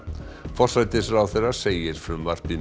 forsætisráðherra segir frumvarpið